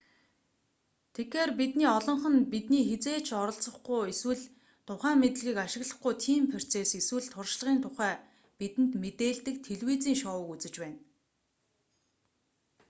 тэгэхээр бидний олонх нь бидний хэзээ ч оролцохгүй эсвэл тухайн мэдлэгийг ашиглахгүй тийм процесс эсвэл туршлагын тухай бидэнд мэдээлдэг телевизийн шоуг үзэж байна